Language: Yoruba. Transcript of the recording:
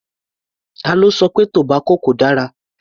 Ta ló sọ pé tobacco kò dára?